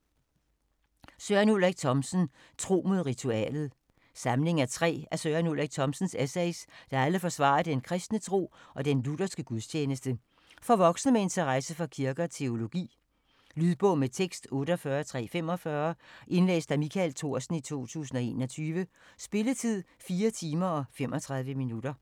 Thomsen, Søren Ulrik: Tro mod ritualet Samling af tre af Søren Ulrik Thomsens essays, der alle forsvarer den kristne tro og den lutherske gudstjeneste. For voksne med interesse for kirke og teologi. Lydbog med tekst 48345 Indlæst af Michael Thorsen, 2021. Spilletid: 4 timer, 35 minutter.